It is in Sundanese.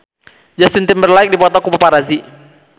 Justin Timberlake dipoto ku paparazi